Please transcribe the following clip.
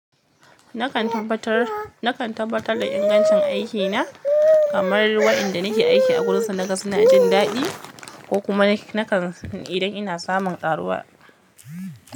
Nakan tabbatar da in gancin aikina idan wanda nake aiki a wajensu suna jin daɗi ko suna samun ƙaruwa.